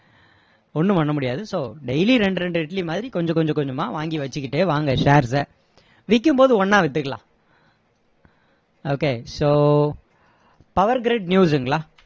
ஒண்ணும் பண்ண முடியாது so daily ரெண்டு ரெண்டு இட்லி மாதிரி கொஞ்ச கொஞ்ச கொஞ்சமா வாங்கி வச்சிக்கிட்டே வாங்க shares அ விக்கும்போது ஒண்ணா வித்துக்கலாம் okay so power grid news ங்களா